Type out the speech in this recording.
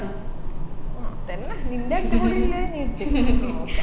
ആ അതെല്ലാം നിൻെറ അടിപൊളി ഇല്ലെ നോക്കാം